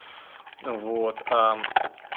вот а